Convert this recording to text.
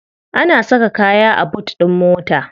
Ana saka kaya a boot din mota.